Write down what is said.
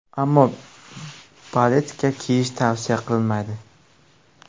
Ammo baletka kiyish tavsiya qilinmaydi.